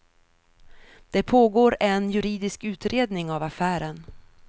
Det pågår en juridisk utredning av affären.